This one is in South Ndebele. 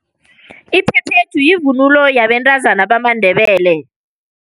Iphephethu yivunulo yabentazana bamaNdebele.